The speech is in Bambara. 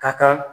Ka kan